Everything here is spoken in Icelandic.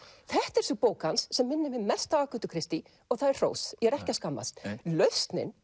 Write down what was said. þetta er sú bók hans sem minnir mig mest á og það er hrós ég er ekki að skammast lausnin